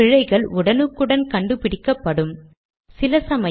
இந்த பத்தியையும் நீக்குகிறேன்